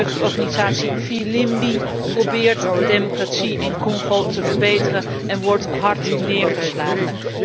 De jeugdorganisatie Filimbi probeert de democratie in Congo te verbeteren en wordt hard neergeslagen.